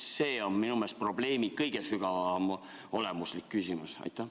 See on minu meelest selle probleemi kõige sügavam olemuslik küsimus.